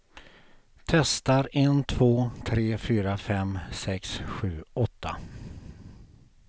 Testar en två tre fyra fem sex sju åtta.